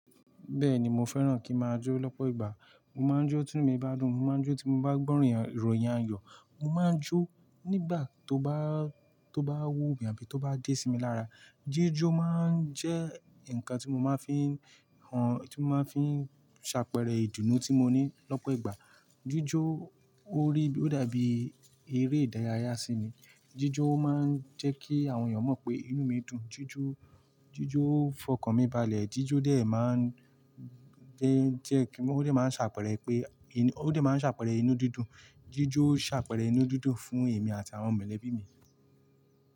Bẹ́ẹ̀ni mo fẹ́ràn kí máa jó lọ́pọ̀ ìgbà. Mo máa ń jó tí inú mi bá dùn, mo máa ń jó tí mo bá gbọ́ràn ìròyìn ayọ̀, mo máa ń jó nígbà tó bá, tó bá wúwo mi àbí tó bá dé sí mi lára. Jíjó máa ń jẹ́ ǹkan tí mo máa ń fi hàn, tí mo máa ń fi ṣàpẹẹrẹ ìdùnnú tí mo ní lọ́pọ̀ ìgbà. Jíjó ó rí, ó dàbí eré ìdárayá sí mi. Jíjó máa ń jẹ́ kí àwọn èèyàn mọ̀ pé inú mi dùn. Jíjó, jíjó fọkàn mi balẹ̀, jíjó dè máa ń jẹ́ kí, ó máa ń ṣàpẹẹrẹ pé, ó máa ń ṣàpẹẹrẹ inú dídùn, jíjó ṣàpẹẹrẹ inú dídùn fún èmi àti àwọn mọ̀lẹ́bí mi.